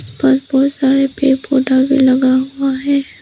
ऊपर बहुत सारा पेड़ पौधा भी लगा हुआ है।